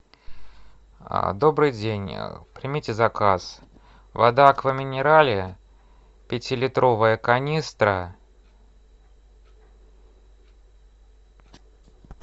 добрый день примите заказ вода аква минерале пятилитровая канистра